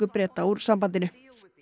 Breta úr sambandinu